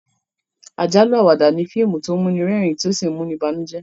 àjálù-Àwàdà ní fíìmù tó muni rérìn to sí muni bànújẹ